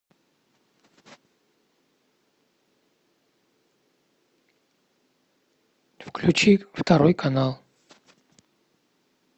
включи второй канал